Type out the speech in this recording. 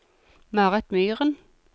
Marit Myren